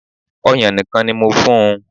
Ọ̀yàn nìkan ni mo fún un